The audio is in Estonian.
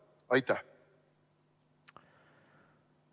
Aitäh!